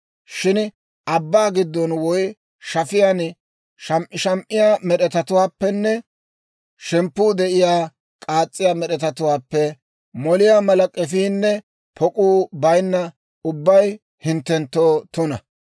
Shin abbaa giddon woy shaafaan sham"isham"iyaa med'etatuwaappenne shemppuu de'iyaa, k'aas's'iyaa med'etatuwaappe moliyaa mala k'efiinne pok'uu baynna ubbay hinttenttoo tuna.